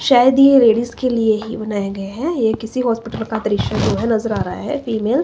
शायद ये लेडीज के लिए ही बनाया गया है ये किसी हॉस्पिटल का दृश्य जो हैं नजर आ रहा है फीमेल --